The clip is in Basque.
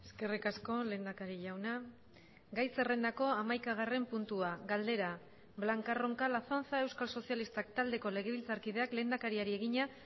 eskerrik asko lehendakari jauna gai zerrendako hamaikagarren puntua galdera blanca roncal azanza euskal sozialistak taldeko legebiltzarkideak lehendakariari egina